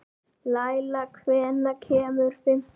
Leyla, hvenær kemur fimman?